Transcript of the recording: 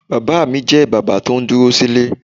Bàbá mi jẹ́ bàbá tó ń dúró sílè.